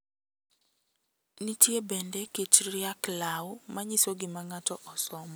Nitie bende kit riak law manyiso gima ng`ato osomo.